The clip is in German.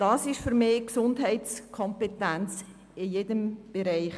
Dies ist für mich Gesundheitskompetenz.